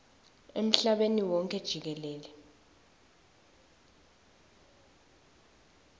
emhlabeni wonkhe jikelele